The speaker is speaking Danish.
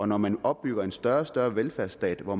når man opbygger en større og større velfærdsstat hvor